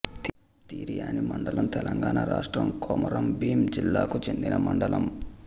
తిర్యాని మండలం తెలంగాణ రాష్ట్రం కొమరంభీం జిల్లాకు చెందిన మండలం